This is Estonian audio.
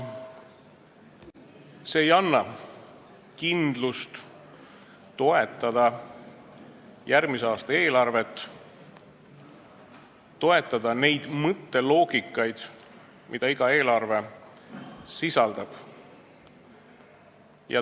See ei anna kindlust toetada järgmise aasta eelarvet, toetada mõtteloogikat, mida see eelarve kajastab.